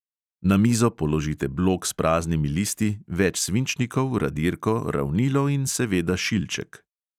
Na mizo položite blok s praznimi listi, več svinčnikov, radirko, ravnilo in seveda šilček.